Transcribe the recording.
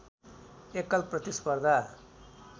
एकल प्रतिस्पर्धा